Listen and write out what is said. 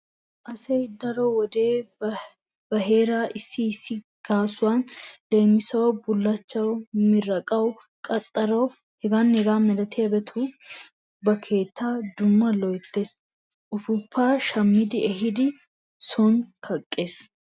Asayi daro wode ba heera issi issi gaasuwan leemisuwawu bullachchawu; miraaqawu; qaxxarawu…h.h.m ba keettaa dumma loyttees. Ufuuppaa shammi ehidi sooni kaqqees.